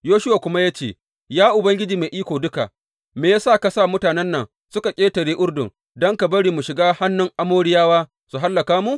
Yoshuwa kuma ya ce, Ya Ubangiji Mai Iko Duka, me ya sa ka sa mutanen nan suka ƙetare Urdun don ka bari mu shiga hannun Amoriyawa su hallaka mu?